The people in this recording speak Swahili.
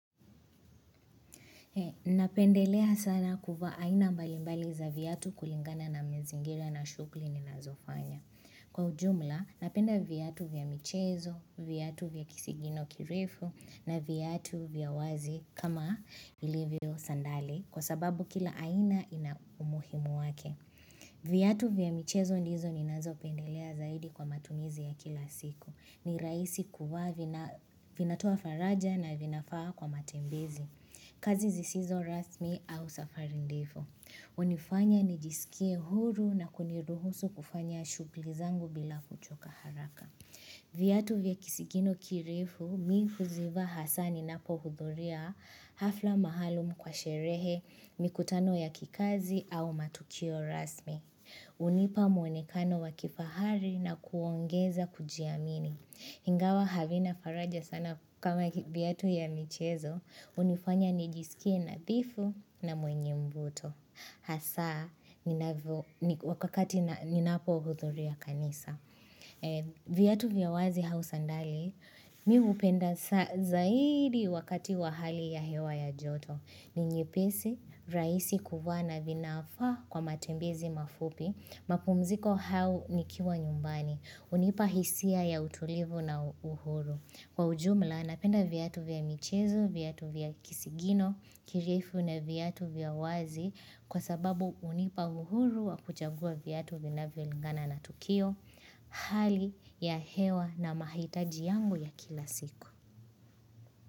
Napendelea sana kuvaa aina mbalimbali za viatu kulingana na mazingira na shughuli ninazofanya. Kwa ujumla, napenda viatu vya michezo, viatu vya kisigino kirefu, na viatu vya wazi kama ilivio sandali kwa sababu kila aina ina umuhimu wake. Viatu vya michezo ndizo ninazopendelea zaidi kwa matumizi ya kila siku. Ni rahisi kuvaa vinatoa faraja na vinafaa kwa matembezi. Kazi zisizo rasmi au safari ndefu. Hunifanya nijisikie huru na kuniruhusu kufanya shughuli zangu bila kuchoka haraka. Viatu vya kisigino kirefu, mi huzivaa hasa ninapohudhuria hafla mahali mko kwa sherehe, mikutano ya kikazi au matukio rasmi. Hunipa muonekano wa kifahari na kuongeza kujiamini. Ingawa havina faraja sana kama viatu ya michezo, hunifanya nijisikie nadhifu na mwenye mvuto. Hasa, ninavyo, wakati ninapohudhuria kanisa. Viatu vya wazi au sandali, mi hupenda zaidi wakati wa hali ya hewa ya joto. Ni nyepisi, rahisi kuvaa na vinafaa kwa matembezi mafupi, mapumziko au nikiwa nyumbani. Hunipa hisia ya utulivu na uhuru Kwa ujumla napenda viatu vya michezo, viatu vya kisigino kirefu na viatu vya wazi kwa sababu hunipa uhuru wa kuchagua viatu vinavyo lingana na tukio Hali ya hewa na mahitaji yangu ya kila siku.